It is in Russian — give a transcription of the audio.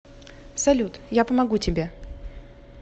салют я помогу тебе